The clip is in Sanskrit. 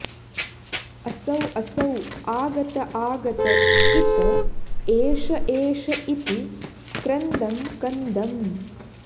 असौ असौ आगत आगत इत एष एष इति क्रन्दं कन्दम्